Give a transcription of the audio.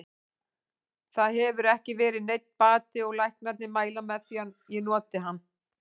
Það hefur ekki verið neinn bati og læknarnir mæla með því að ég noti hann.